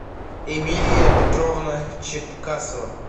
эмилия петровна чепкасова